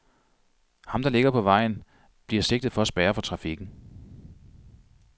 Ham, der ligger på vejen, bliver sigtet for at spærre for trafikken.